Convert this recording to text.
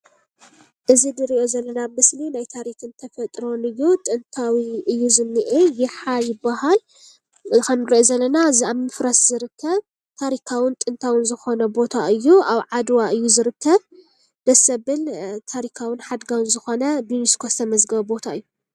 እዚ ንሪኦ ዘለና ምስሊ ናይ ታሪክን ተፈጥሮን እዩ፡፡ ጥንታዊ እዩ ዝኒሄ የሓ ይባሃል፡፡ ከምንሪኦ ዘለና ኣብ ምፍራስ ዝርከብ ታሪካውን ጥንታውን ዝኾነ ቦታ እዩ፡፡ ኣብ ዓድዋ እዩ ዝርከብ ደስ ዘብል ታሪካውን ሓድጋውን ዝኾነ ብዩኒስኮ ዝተመዝገበ ቦታ እዩ፡፡